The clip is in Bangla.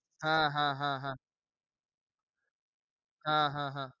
হ্যাঁ, হ্যাঁ, হ্যাঁ, হ্যাঁ। হ্যাঁ, হ্যাঁ, হ্যাঁ।